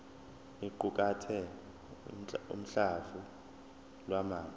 iqukathe uhlamvu lwamazwi